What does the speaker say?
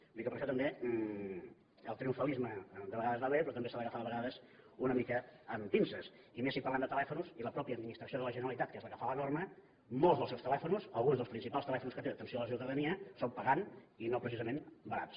vull dir que per això també el triomfalisme de vegades va bé però també s’ha d’agafar de vegades una mica amb pinces i més si parlem de telèfons i la mateixa administració de la generalitat que és la que fa la norma molts dels seus telèfons alguns dels principals telèfons que té d’atenció a la ciutadania són pagant i no precisament barats